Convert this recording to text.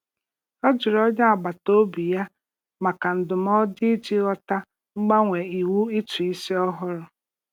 Ọ jụrụ onye agbataobi ya maka ndụmọdụ iji ghọta mgbanwe iwu ụtụisi ọhụrụ.